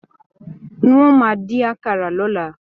N o máa din àkàrà l'ọla.